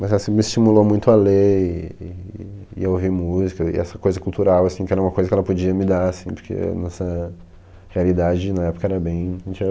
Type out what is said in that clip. Mas assim me estimulou muito a ler e e a ouvir música e essa coisa cultural assim, que era uma coisa que ela podia me dar assim, porque a nossa realidade na época era bem, a gente era